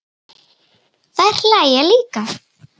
Þær hlæja líka.